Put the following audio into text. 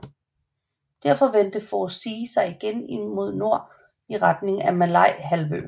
Derefter vendte Force Z igen mod nord i retning af Malayahalvøen